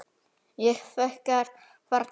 Ég þekki þar til.